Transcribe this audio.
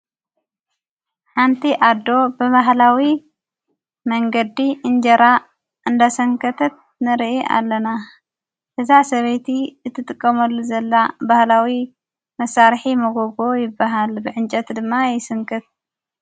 ሓንቲ ኣዶ ብብሃላዊ መንገዲ እንጀራ እንዳሰንከተት ንርኢ ኣለና ሕዛ ሰበይቲ እት ጥቀመሉ ዘላ ባህላዊ መሣርሒ መጐጎ ይበሃል ብዕንጨት ድማ ይስንቅት